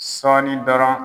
Sɔɔni dɔrɔn